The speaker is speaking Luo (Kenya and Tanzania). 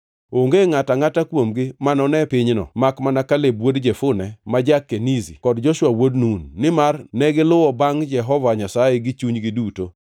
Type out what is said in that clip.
onge ngʼato angʼata kuomgi manone pinyno makmana Kaleb wuod Jefune ma ja-Kenizi kod Joshua wuod Nun, nimar negiluwo bangʼ Jehova Nyasaye gi chunygi duto.’